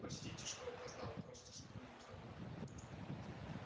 простите что опоздал просто сплю на ходу